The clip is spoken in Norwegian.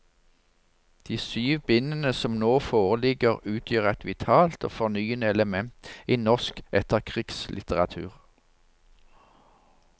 De syv bind som nå foreligger utgjør et vitalt og fornyende element i norsk etterkrigslitteratur.